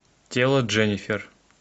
тело дженнифер